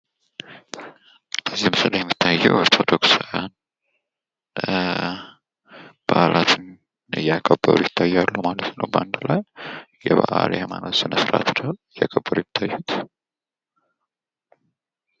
በዚህ ምስል ላይ የሚታየው የኦርቶዶክስ በዓላትን እያከበሩ ይታያሉ ማለት ነው። በአንዱ ላይ የበአል የሃይማኖት ስነስርአት ነው እያከበሩ የሚገኙት።